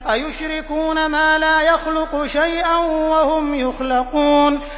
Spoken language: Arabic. أَيُشْرِكُونَ مَا لَا يَخْلُقُ شَيْئًا وَهُمْ يُخْلَقُونَ